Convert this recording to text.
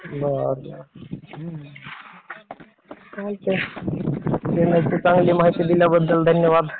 बरं चालतंय. तुम्ही खूप चांगली माहिती दिल्याबद्दल धन्यवाद.